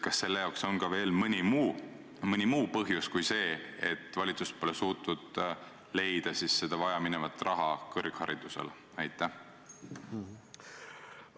Kas selleks on veel mõni muu põhjus peale selle, et valitsus pole suutnud leida seda vajaminevat raha kõrghariduse edendamiseks?